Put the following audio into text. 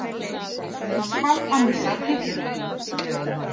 Sundsvall að missa af titlinum